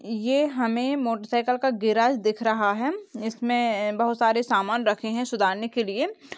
ये हमे motorcycle का गैराज दिख रहा है इसमे बहुत सारे सामान रखे हैं सुधारने के लिए ।